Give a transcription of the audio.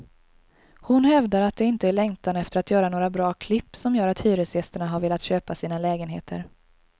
Hon hävdar att det inte är längtan efter att göra några bra klipp som gör att hyresgästerna har velat köpa sina lägenheter.